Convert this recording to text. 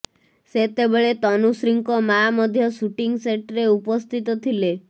ସେତେବେଳେ ତନୁଶ୍ରୀଙ୍କ ମାଆ ମଧ୍ୟ ସୁଟିଂ ସେଟରେ ଉପସ୍ଥିତ ଥିଲେ